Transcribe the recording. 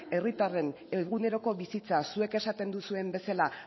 herritarren eguneroko bizitza zuek esaten duzuen bezala